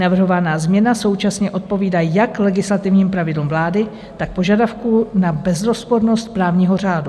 Navrhovaná změna současně odpovídá jak legislativním pravidlům vlády, tak požadavku na bezrozpornost právního řádu.